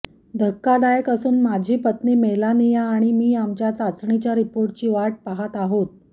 धक्कादायक असून माझी पत्नी मेलानिया आणि मी आमच्या चाचणीच्या रिपोर्टची वाट पाहत आहोत